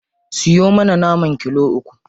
Siyo mana naman kilo uku.